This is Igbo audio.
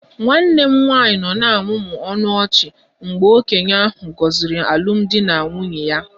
Nwanne m nwanyị nọ na-amụmụ ọnụ ọchị mgbe okenye ahụ gọziri alụmdi na nwunye ya